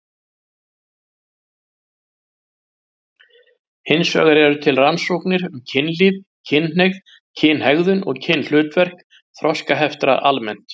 Hins vegar eru til rannsóknir um kynlíf, kynhneigð, kynhegðun og kynhlutverk þroskaheftra almennt.